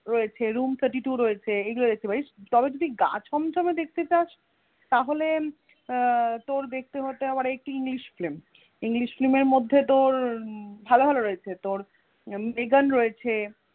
রয়েছে room thirty two রয়েছে, এইগুলো দেখতে পারিস তবে যদি গা ছমছমে দেখতে চসা তাহলে আহ তোর দেখতে হবে একটি english film english film এর মধ্যে তোর উম ভালো ভালো রয়েছে তোর ভেগান রয়েছে